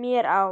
mér á?